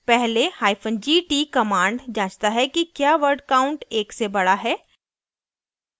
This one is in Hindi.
पहले hyphen gt command जाँचता है कि क्या word count एक से बड़ा है